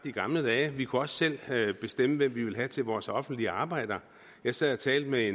i gamle dage vi kunne også selv bestemme hvem vi vil have til vores offentlige arbejder jeg sad og talte med